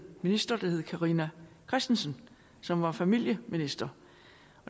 minister der hed carina christensen som var familieminister